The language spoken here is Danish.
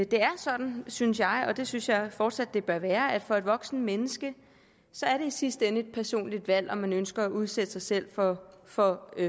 det er sådan synes jeg og det synes jeg fortsat det bør være at for et voksent menneske er det i sidste ende et personligt valg om man ønsker at udsætte sig selv for for